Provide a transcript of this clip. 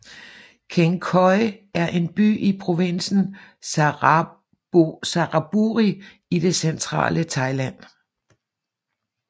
Kaeng Khoi er en by i provinsen Saraburi i det centrale Thailand